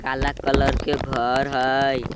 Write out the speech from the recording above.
काला कलर के घर हई।